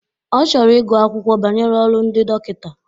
Ọ chọrọ igu akwụkwọ banyere olu ndị dọkịta.